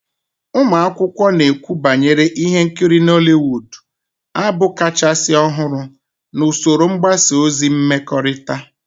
Ụmụ akwụkwọ na-ekwukwa banyere ihe nkiri Nollywood, abụ kachasị ọhụrụ na usoro mgbasa ozi mmekọrịta